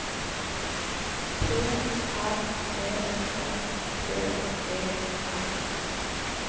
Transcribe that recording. P R E S T E R